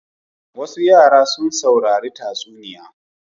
Wasu yara sun saurari tatsuniya.